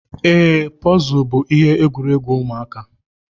Ee, Pọzul bú ihe egwuregwu ụmụaka.